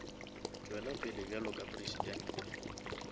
tšwela pele bjalo ka presidente